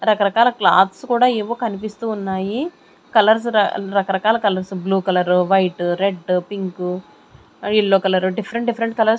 రకరకాల క్లాత్స్ కూడా ఏవో కనిపిస్తూ ఉన్నాయి కలర్స్ రకరకాల colours blue colour white red pink ఆ yellow colour different different colours --